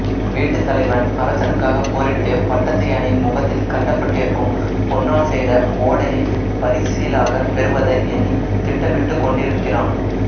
வீட்டுத் தலைவன் அரசனுக்காகப் போரிட்டுப் பட்டத்து யானையின் முகத்தில் கட்டப்பட்டிருக்கும் பொன்னால் செய்த ஓடையைப் பரிசிலாகப் பெறுவதை எண்ணித் திட்டமிட்டுகொண்டிருக்கிறான்